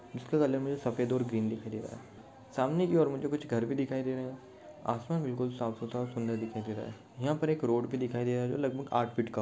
सफेद और ग्रीन दिख रही है सामने की और मुझे कुछ घर भी दिखाई दे रहे है आसमान भी साफ़सुधारा और सुंदर भी दिखाई दे रहा है यहा पर एक रोड भी दिखाई दे रहा है लगभग आठ फीट का--